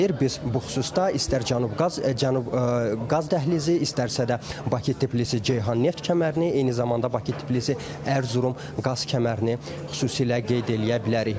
Biz bu xüsusda istər Cənub Qaz, Cənub qaz dəhlizi, istərsə də Bakı-Tbilisi-Ceyhan neft kəmərini, eyni zamanda Bakı-Tbilisi-Ərzurum qaz kəmərini xüsusilə qeyd eləyə bilərik.